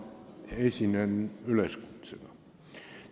Ma esinen üleskutsega.